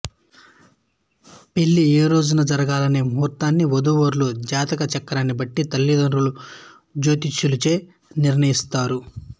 పెళ్ళి ఏ రోజున జరగాలనే ముహూర్తాన్ని వధూవరుల జాతక చక్రాన్ని బట్టి తల్లిదండ్రులు జ్యోతిష్కులచే నిర్ణయిస్తారు